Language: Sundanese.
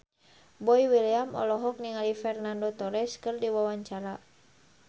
Boy William olohok ningali Fernando Torres keur diwawancara